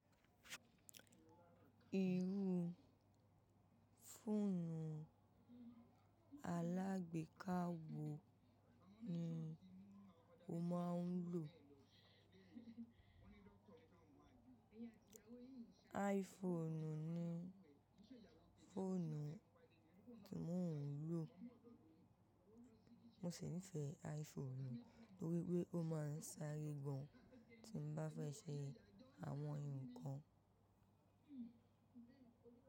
Irú fóònù alágbéka wo ni o máa ń lò? iPhone ni fónù tí mò ń lò. Mo sì nífẹ̀ẹ́ iPhone nítorí pé ó máa ń sáré gbọ̀ tí n bá fẹ́ ṣe àwọn nǹkan.